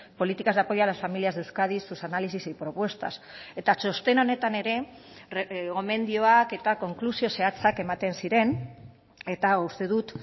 políticas de apoyo a las familias de euskadi sus análisis y propuestas eta txosten honetan ere gomendioak eta konklusio zehatzak ematen ziren eta uste dut